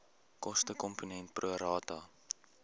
kostekomponent pro rata